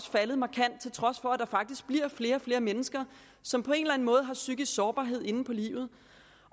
faldet markant til trods for at der faktisk bliver flere og flere mennesker som på en eller anden måde har psykisk sårbarhed inde på livet